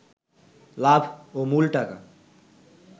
লাভ ও মূল টাকা